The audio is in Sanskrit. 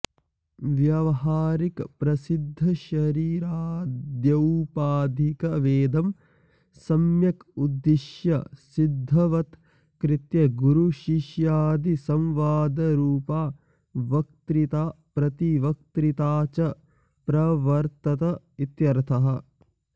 व्यावहारिकप्रसिद्धशरीराद्यौपाधिकभेदं सम्यग् उद्दिश्य सिद्धवत्कृत्य गुरुशिष्यादिसंवादरूपा वक्तृता प्रतिवक्तृता च प्रवर्त्तत इत्यर्थः